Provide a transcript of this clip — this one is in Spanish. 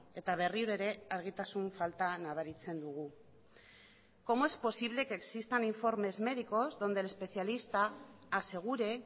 eta berriro ere argitasun falta nabaritzen dugu cómo es posible que existan informes médicos donde el especialista asegure